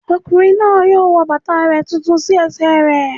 Ọkùnrin náà yóò wọ bàtà rẹ̀ tuntun sí ẹsẹ̀ rẹ̀